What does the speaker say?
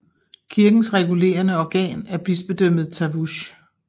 Kirkens regulerende organ er bispedømmet Tavush